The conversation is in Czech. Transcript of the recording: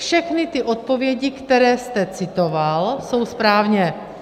Všechny ty odpovědi, které jste citoval, jsou správně.